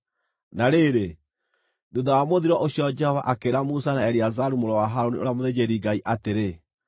Na rĩrĩ, thuutha wa mũthiro ũcio Jehova akĩĩra Musa na Eleazaru mũrũ wa Harũni, ũrĩa mũthĩnjĩri-Ngai atĩrĩ,